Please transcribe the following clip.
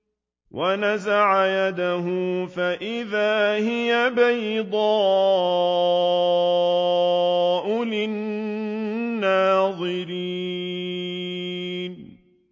وَنَزَعَ يَدَهُ فَإِذَا هِيَ بَيْضَاءُ لِلنَّاظِرِينَ